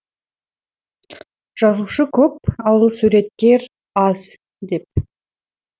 жазушы көп ал суреткер аз деп